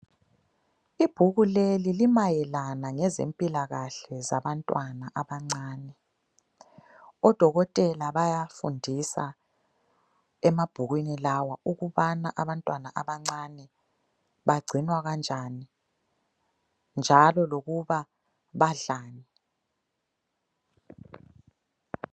Ibhuku leli limayelana lezempilakahle zabantwana abancane. Odokotela bayafundisa emabhukwini lawa ukubana abantwana abancane bagcinwa kanjani njalo lokuba badlani.